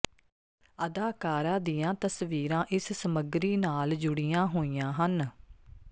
ਅਦਾਕਾਰਾ ਦੀਆਂ ਤਸਵੀਰਾਂ ਇਸ ਸਮੱਗਰੀ ਨਾਲ ਜੁੜੀਆਂ ਹੋਈਆਂ ਹਨ